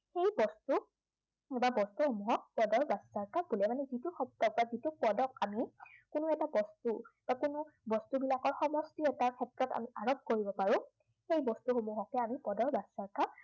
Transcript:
বস্তু, বা বস্তুসমূহক পদৰ ব্য়াখাৰ্থ বোলে। মানে যিটো বস্তু বা যিটো পদক আমি, কোনো এটা বস্তু একেলগ বস্তুবিলাকৰ সমষ্টি এটাৰ ক্ষেত্ৰত আমি আৰোপ কৰিব পাৰো, সেই বস্তুসমূহকে আমি পদৰ বাচ্য়াৰ্থ